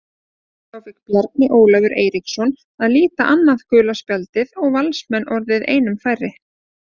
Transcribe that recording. Þá fékk Bjarni Ólafur Eiríksson að líta annað gula spjald og Valsmenn orðnir einum færri.